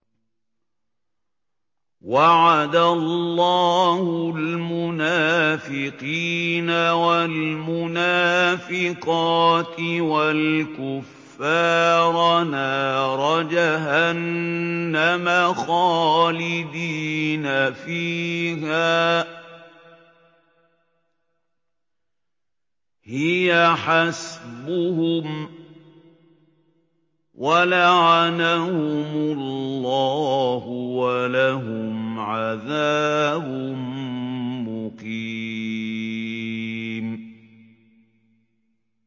وَعَدَ اللَّهُ الْمُنَافِقِينَ وَالْمُنَافِقَاتِ وَالْكُفَّارَ نَارَ جَهَنَّمَ خَالِدِينَ فِيهَا ۚ هِيَ حَسْبُهُمْ ۚ وَلَعَنَهُمُ اللَّهُ ۖ وَلَهُمْ عَذَابٌ مُّقِيمٌ